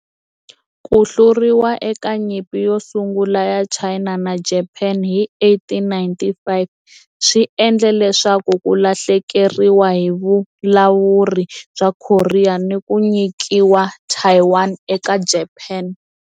Ku hluriwa eka Nyimpi yo Sungula ya China na Japani hi 1895 swi endle leswaku ku lahlekeriwa hi vulawuri bya Korea ni ku nyikiwa Taiwan eka Japani.